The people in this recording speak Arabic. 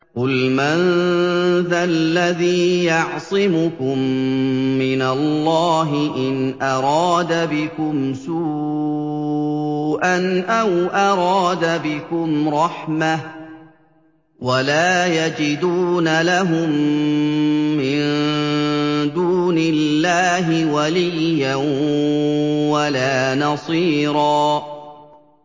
قُلْ مَن ذَا الَّذِي يَعْصِمُكُم مِّنَ اللَّهِ إِنْ أَرَادَ بِكُمْ سُوءًا أَوْ أَرَادَ بِكُمْ رَحْمَةً ۚ وَلَا يَجِدُونَ لَهُم مِّن دُونِ اللَّهِ وَلِيًّا وَلَا نَصِيرًا